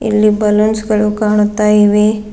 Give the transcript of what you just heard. ಇಲ್ಲಿ ಬಲೂನ್ಸ್ ಗಳು ಕಾಣುತ್ತಾ ಇವೆ.